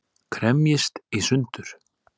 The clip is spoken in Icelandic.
Kremjist í sundur.